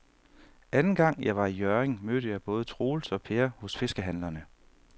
Anden gang jeg var i Hjørring, mødte jeg både Troels og Per hos fiskehandlerne.